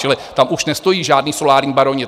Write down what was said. Čili tam už nestojí žádní solární baroni.